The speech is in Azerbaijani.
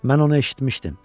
Mən onu eşitmişdim.